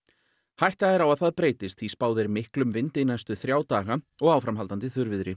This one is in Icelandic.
hætta er á að það breytist því spáð er miklum vindi næstu þrjá daga og áframhaldandi